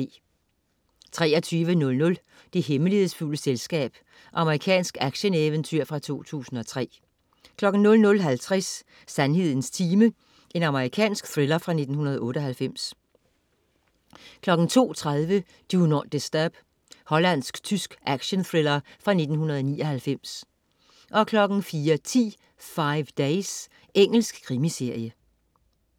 23.00 Det hemmelighedsfulde selskab. Amerikansk action-eventyrfilm fra 2003 00.50 Sandhedens time. Amerikansk thriller fra 1998 02.30 Do Not Disturb. Hollandsk-tysk actionthriller fra 1999 04.10 Five Days. Engelsk krimiserie